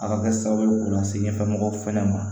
A ka kɛ sababu ye k'u lase ɲɛfɛ mɔgɔw fɛnɛ ma